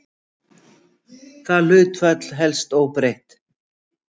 Það hlutfall helst óbreytt.